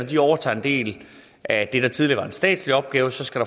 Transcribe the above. de overtager en del af det der tidligere var en statslig opgave skal